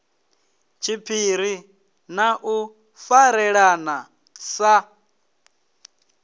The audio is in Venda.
tshiphiri na u farelana sa